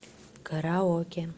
караоке